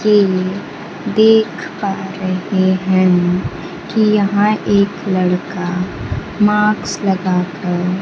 कि देख पा रहे हैं कि यहां एक लड़का मास्क लगा कर --